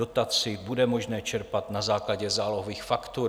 Dotaci bude možné čerpat na základě zálohových faktur.